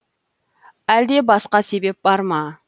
әлде басқа себеп бар ма